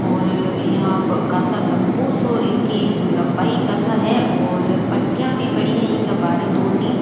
और यहाँ कासा लम्बा सा इनकी लम्बाई कासा है और पटीयां भी पड़ी है इंक बार दो तीन।